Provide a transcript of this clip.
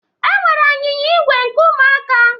Enwere anyịnya ígwè nke Ụmụaka.